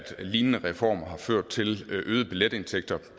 lignende reformer har ført til øgede billetindtægter